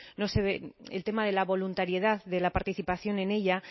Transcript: no se ve el tema de la voluntariedad de la participación en ella